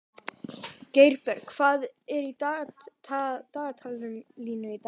Geirbjörg, hvað er í dagatalinu í dag?